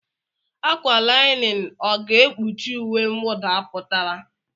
ákwà linin ọ̀ ga-ekpuchi uwe mwụda pụtara?